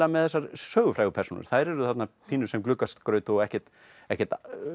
með þessar sögufrægu persónur þær eru þarna pínu sem gluggaskraut og ekkert ekkert